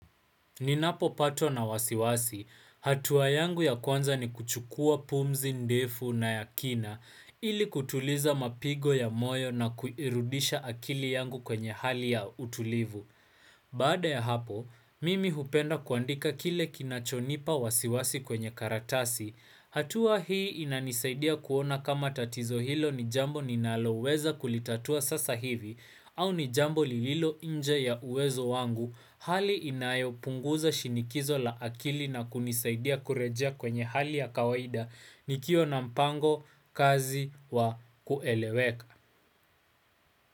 Ninapopatwa na wasiwasi, hatua yangu ya kwanza ni kuchukua pumzi, ndefu na yakina, ili kutuliza mapigo ya moyo na kuirudisha akili yangu kwenye hali ya utulivu. Baada ya hapo, mimi hupenda kuandika kile kinachonipa wasiwasi kwenye karatasi. Hatua hii inanisaidia kuona kama tatizo hilo ni jambo ninaloweza kulitatua sasa hivi au ni jambo lililo nje ya uwezo wangu hali inayo punguza shinikizo la akili na kunisaidia kurejea kwenye hali ya kawaida nikiwa na mpango kazi wa kueleweka.